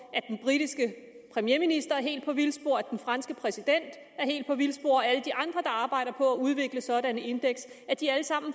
at den premierminister er helt på vildspor at den franske præsident er helt på vildspor og alle de andre der arbejder på at udvikle sådanne indeks er de alle sammen